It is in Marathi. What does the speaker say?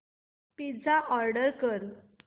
पिझ्झा ऑर्डर कर